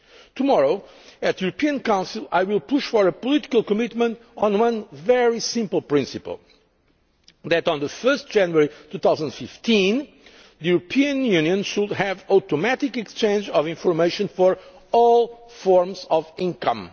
Tomorrow at the European Council, I will push for a political commitment on one very simple principle that on 1 January 2015 the European Union should have automatic exchange of information for all forms of